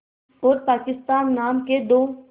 और पाकिस्तान नाम के दो